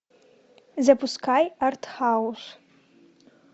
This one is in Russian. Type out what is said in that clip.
запускай артхаус